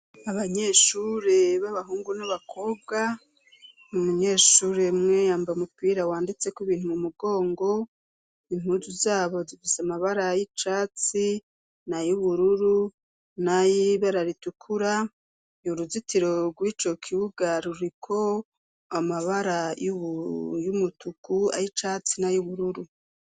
Abanyeshure b'abahungu n'abakobwa mu munyeshuremweyamba mupira wanditseko ibintu mu mugongo impuzu zabo zivisa amabara y'icatsi na youbururu nayoib araritukura ni uruzitiro rw'ico kiwugaruriko amabara ybe y'umutuku ari icatsi na y'ubururu.